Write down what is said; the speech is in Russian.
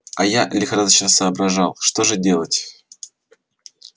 а я лихорадочно соображал что же делать